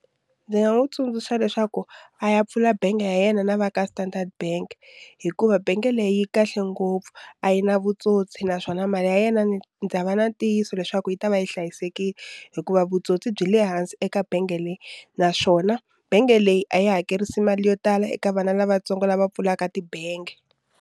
Ndzi nga n'wi tsundzuxa leswaku a ya pfula bangi ya yena na va ka Standard bank hikuva bangi leyi yi kahle ngopfu a yi na vutsotsi naswona mali ya yena ni ndza va na ntiyiso leswaku yi ta va yi hlayisekile hikuva vutsotsi byi le hansi eka bangi leyi naswona bangi leyi a yi hakerisa mali yo tala eka vana lavatsongo lava pfulaka tibangi.